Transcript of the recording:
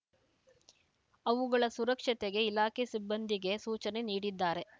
ಅವುಗಳ ಸುರಕ್ಷತೆಗೆ ಇಲಾಖೆ ಸಿಬ್ಬಂದಿಗೆ ಸೂಚನೆ ನೀಡಿದ್ದಾರೆ